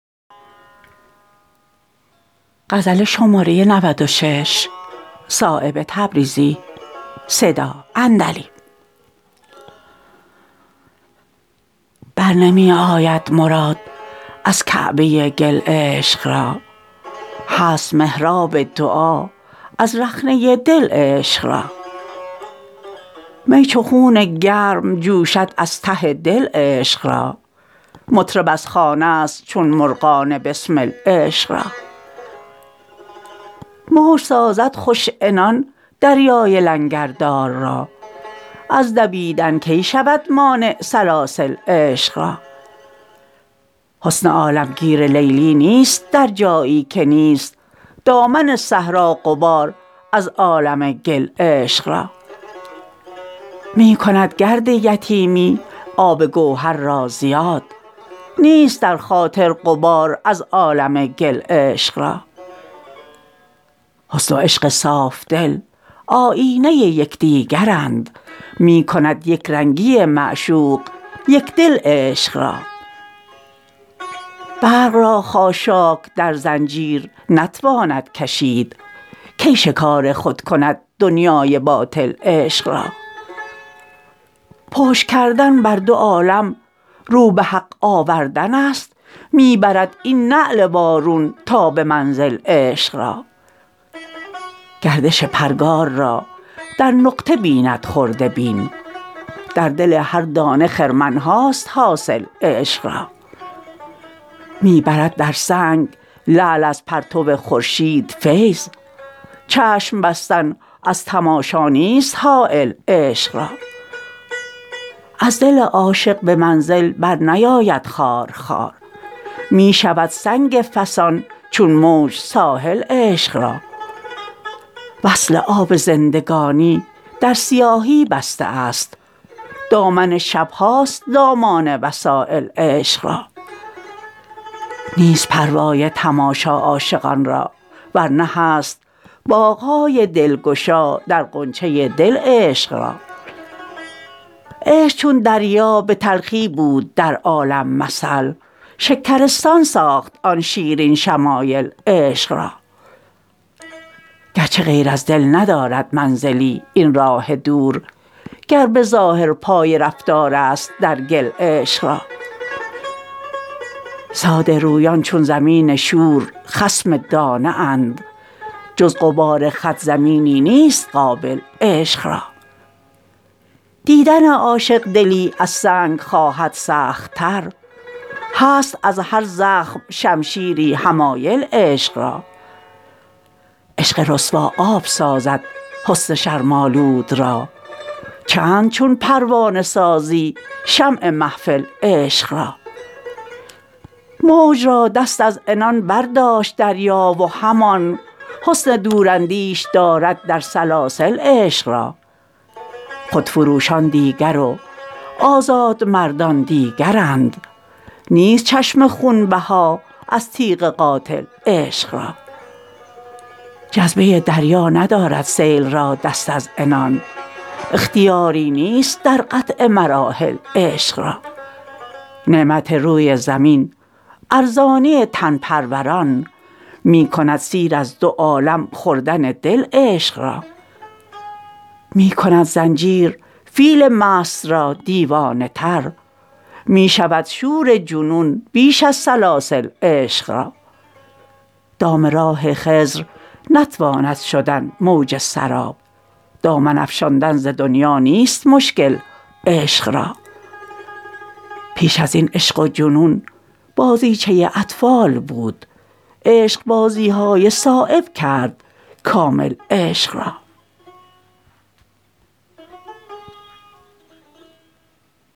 بر نمی آید مراد از کعبه گل عشق را هست محراب دعا از رخنه دل عشق را می چو خون گرم جوشد از ته دل عشق را مطرب از خانه است چون مرغان بسمل عشق را موج سازد خوش عنان دریای لنگردار را از دویدن کی شود مانع سلاسل عشق را حسن عالمگیر لیلی نیست در جایی که نیست دامن صحرا غبار از عالم گل عشق را می کند گرد یتیمی آب گوهر را زیاد نیست در خاطر غبار از عالم گل عشق را حسن و عشق صافدل آیینه یکدیگرند می کند یکرنگی معشوق یکدل عشق را برق را خاشاک در زنجیر نتواند کشید کی شکار خود کند دنیای باطل عشق را پشت کردن بر دو عالم رو به حق آوردن است می برد این نعل وارون تا به منزل عشق را گردش پرگار را در نقطه بیند خرده بین در دل هر دانه خرمنهاست حاصل عشق را می برد در سنگ لعل از پرتو خورشید فیض چشم بستن از تماشا نیست حایل عشق را از دل عاشق به منزل برنیاید خارخار می شود سنگ فسان چون موج ساحل عشق را وصل آب زندگانی در سیاهی بسته است دامن شبهاست دامان وسایل عشق را نیست پروای تماشا عاشقان را ورنه هست باغ های دلگشا در غنچه دل عشق را عشق چون دریا به تلخی بود در عالم مثل شکرستان ساخت آن شیرین شمایل عشق را گرچه غیر از دل ندارد منزلی این راه دور گر به ظاهر پای رفتارست در گل عشق را ساده رویان چون زمین شور خصم دانه اند جز غبار خط زمینی نیست قابل عشق را دیدن عاشق دلی از سنگ خواهد سخت تر هست از هر زخم شمشیری حمایل عشق را عشق رسوا آب سازد حسن شرم آلود را چند چون پروانه سازی شمع محفل عشق را موج را دست از عنان برداشت دریا و همان حسن دوراندیش دارد در سلاسل عشق را خودفروشان دیگر و آزادمردان دیگرند نیست چشم خونبها از تیغ قاتل عشق را جذبه دریا ندارد سیل را دست از عنان اختیاری نیست در قطع مراحل عشق را نعمت روی زمین ارزانی تن پروران می کند سیر از دو عالم خوردن دل عشق را می کند زنجیر فیل مست را دیوانه تر می شود شور جنون بیش از سلاسل عشق را دام راه خضر نتواند شدن موج سراب دامن افشاندن ز دنیا نیست مشکل عشق را پیش ازین عشق و جنون بازیچه اطفال بود عشق بازی های صایب کرد کامل عشق را